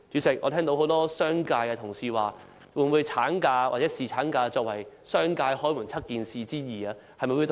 主席，很多商界同事提出了一連串問題：產假或侍產假會否作為商界"開門七件事之二"處理呢？